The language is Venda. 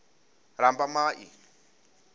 lambamai